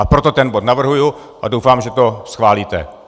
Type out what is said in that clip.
A proto ten bod navrhuji a doufám, že to schválíte.